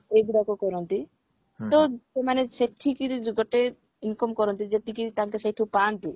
ଏଇ ଗୁଡାକ କରନ୍ତି ତ ସେମାନେ ସେଠିକିରି ଗୋଟେ income କରନ୍ତି ଯେତିକି ତାଙ୍କେ ସେଉଠୁ ପାଆନ୍ତି